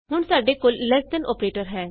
ਹੁਣ ਸਾਡੇ ਕੋਲ ਲ਼ੇਸ ਦੇਨ ਅੋਪਰੇਟਰ ਹੈ